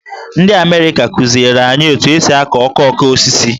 Ndị Amerịka kụziere anyị otu esi akụ okoko osisi.